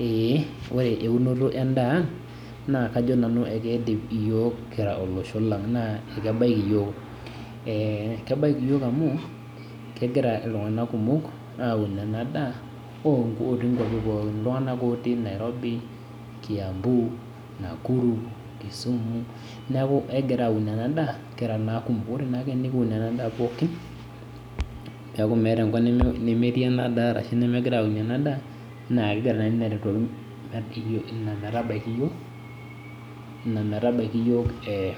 Eh ore eunoto endaa naa, kajo nanu keidim iyiok kira olosho lang naa, kebaiki iyiok . Eh kebaiki iyiok amu, kegira iltunganak kumok aun enda daa otii kuapi pookin. Iltunganak otii Nairobi, Kiambu , Nakuru, Kisumu neaku ekigira aun ena daa kira naa kumok. Ore naake tenikiun ena daa pookin peeku meeta enkop nemetii ena daa arashu nemegirae aunie ena daa naa kegira naa ina aitodolu ina metabaiki iyiok ina metabaiki iyiok eh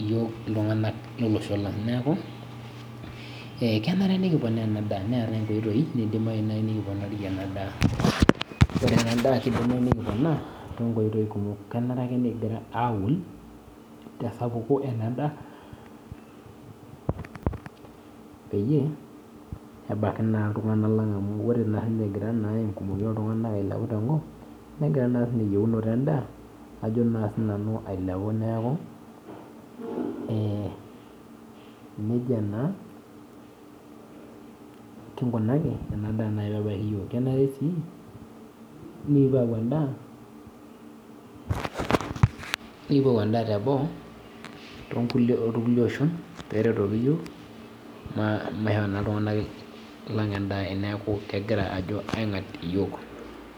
iltunganak lo losho lang. Neaku eh kenare nikiponaa ena daa neetae inkoitoi naidimayu naaji nikiponarie ena daa, ore ena daa kidimayu nikiponaa tonkoitoi kumok. Kenare ake nikigira aun te sapuko ena daa, peyie ebaiki naa iltunganak lang amu, ore naa, egira engumoi oo tunganak ailepu tenkop negira naa sininye eyieunoto endaa ajo naa sinanu piilo ayiolou ailepu. Neaku eh nejia naa kigunaki ena daa naaji pee ebaiki iyiok. Kenare sii nikipuo ayau endaa teboo tookulie oshon pee erotoki iyiok maishoo naa iltunganak lang endaa eneaku kegira ajo aigat iyiok.